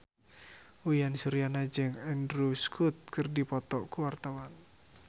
Uyan Suryana jeung Andrew Scott keur dipoto ku wartawan